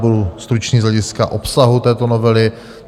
Budu stručný z hlediska obsahu této novely.